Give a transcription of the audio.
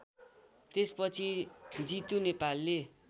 त्यसपछि जितु नेपालले